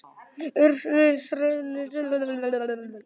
Úrsúla, hvaða stoppistöð er næst mér?